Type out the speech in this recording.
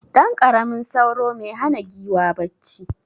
Ɗanƙaramin sauro me hana giwa bacci.